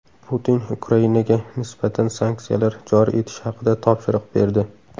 Putin Ukrainaga nisbatan sanksiyalar joriy etish haqida topshiriq berdi.